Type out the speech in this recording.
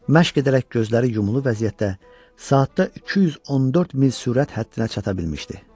Məşq edərək gözləri yumulu vəziyyətdə saatda 214 mil sürət həddinə çata bilmişdi.